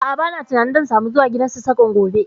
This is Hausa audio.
A'a, ba na tunanin zan samu zuwa gidan Sassaƙan gobe